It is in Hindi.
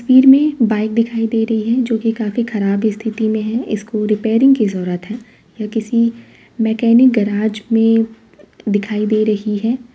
फीड में बाइक दिखाई दे रही है जो कि काफी खराब स्तिथि में है। इसको रिपेयरिंग की ज़रूरत है। यह किसी मैकेनिक गराज में दिखाई दे रही है।